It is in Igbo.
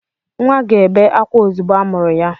Nwa ga-ebe ákwá ozugbo amụrụ ya.